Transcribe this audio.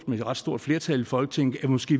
med et ret stort flertal i folketinget måske